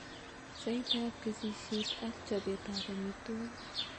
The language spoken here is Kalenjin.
Saitab kesisiet ak chobetab amitwogiik.